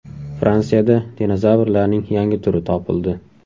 Fransiyada dinozavrlarning yangi turi topildi.